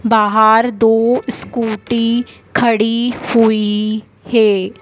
बाहर दो स्कूटी खड़ी हुई है।